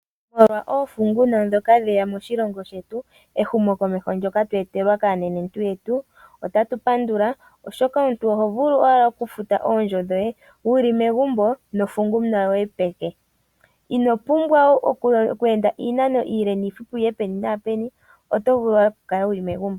Molwa oofunguna dhoka dheya moshilongo shetu ehumokomeho ndyoka twa etelwa kaanenentu yetu otatu pandula oshoka omuntu oto vulu owala oku futa oondjo dhoye wuli megumbo nofunguna yoye peke. Ino pumbwa oku enda iinano iile niifupi wuye peni naapeni otovulu wala okukala wuli megumbo.